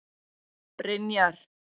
Brynjar